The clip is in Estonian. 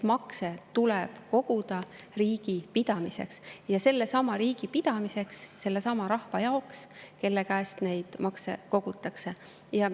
Makse tuleb koguda riigi pidamiseks – sellesama riigi pidamiseks, sellesama rahva jaoks, kelle käest neid makse kogutakse.